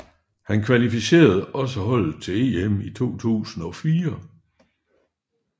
Han kvalificerede også holdet til EM i 2004